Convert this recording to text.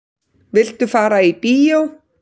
Viltu fara í bíó?